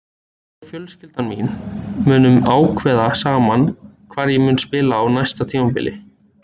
Ég og fjölskyldan mín munum ákveða saman hvar ég mun spila á næsta tímabili.